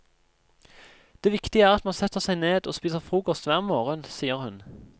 Det viktige er at man setter seg ned og spiser frokost hver morgen, sier hun.